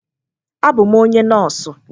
Abụ m onye nọọsụ.